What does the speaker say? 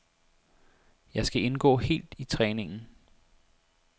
Jeg skal indgå helt i træningen.